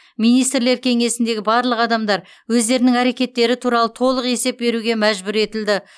министрлер кеңесіндегі барлық адамдар өздерінің әрекеттері туралы толық есеп беруге мәжбүр етілді